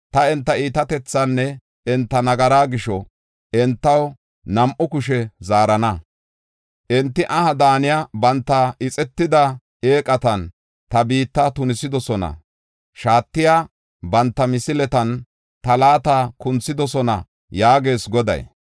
Ta enta iitatethaanne enta nagaraa gisho entaw nam7u kushe zaarana. Enti aha daaniya banta ixetida eeqatan ta biitta tunisidosona; shaatiya banta misiletan ta laata kunthidosona” yaagees Goday.